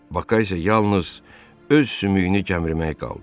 Baka isə yalnız öz sümüyünü gəmirmək qaldı.